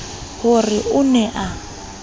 ho re o ne a